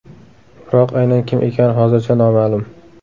Biroq aynan kim ekani hozircha noma’lum.